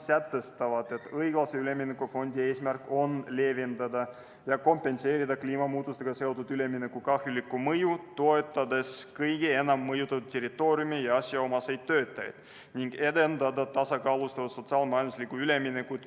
On sätestatud, et õiglase ülemineku fondi eesmärk on leevendada ja kompenseerida kliimamuutustega seotud ülemineku kahjulikku mõju, toetades kõige enam mõjutatud territooriume ja asjaomaseid töötajaid, ning edendada tasakaalustatud sotsiaal-majanduslikku üleminekut.